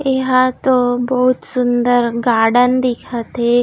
यहाँ तो बहुत सुंदर गार्डन दिखत हे।